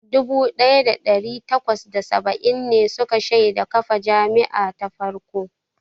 Dubu ɗaya da ɗari takwas da saba'in ne suka shaida kafa jami'a ta farko.